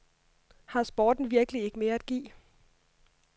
Har sporten virkelig ikke mere at give?